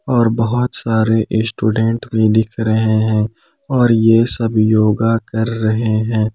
और बहुत सारे स्टूडेंट भी दिख रहे हैं और यह सब योगा कर रहे हैं।